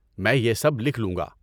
میں یہ سب لکھ لوں گا۔